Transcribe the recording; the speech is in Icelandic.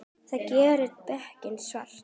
Það gerir dekkin svört.